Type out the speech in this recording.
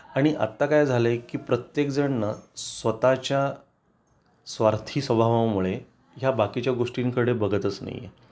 आणि आत्ता काय झालंय की प्रत्येकजण ना स्वतःच्या स्वार्थी स्वभावामुळे या बाकीच्या गोष्टींकडे बघतच नाहीए